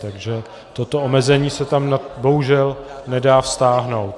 Takže toto omezení se tam bohužel nedá vztáhnout.